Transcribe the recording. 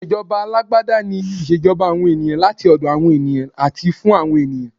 Ìṣèjọba alágbádá ni ìṣèjọba àwọn ènìyàn, láti ọ̀dọ̀ awon ènìyàn àti fún àwọn ènìyàn.